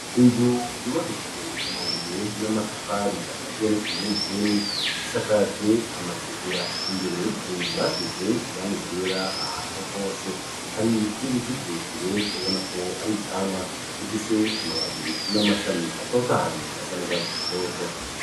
Inzu yubakishije amabuye n'amatafari akaziye n'isima n'umusenyi isakajwe amategura. Imbere hari inzu basize iranga ryera ahantu hose. Hari n'igiti kirekire ubona ko ari icamwa gifise amababi n'amashami atotahaye asa n'urwatsi rutoto.